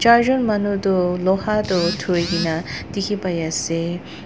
char jun manu du loha du durigina dikhi pai asey.